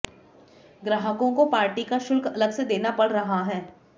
ग्राहकों को पार्टी का शुल्क अलग से देना पड़ रहा है